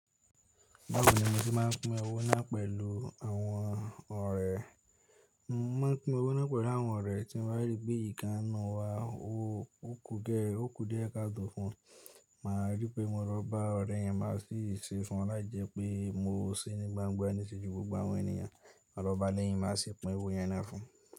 Báwo ni mo se máà ń pin ewó náà pẹ̀lú àwọn ọ̀rẹ́? Mo máa ń pin owó náà pẹ̀lú àwọn ọ̀rẹ́ tí mo bá rí pé ikán n nu wa, ó kù díẹ̀ káàtò fun. Màá rí pé mo lọ bá ọ̀rẹ́ yẹn má sì ṣe fún wọn láì jẹ́ pé mo se ní gbangba níṣe ju gbogbo àwọn ènìyàn. Màá lọba lẹ́yìn, màá sì pin owo yẹn náà fún.